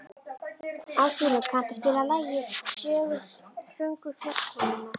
Ásgrímur, kanntu að spila lagið „Söngur fjallkonunnar“?